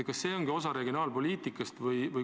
Kas see ongi osa regionaalpoliitikast?